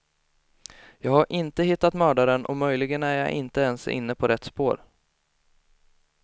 Jag har inte hittat mördaren och möjligen är jag inte ens inne på rätt spår.